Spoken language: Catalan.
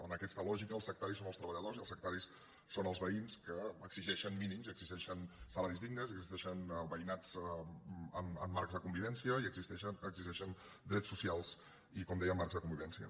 en aquesta lògica els sectaris són els treballadors i els sectaris són els veïns que exigeixen mínims i exigeixen salaris dignes i que exigeixen veï·nats en marcs de convivència i exigeixen drets socials i com deia marcs de convivència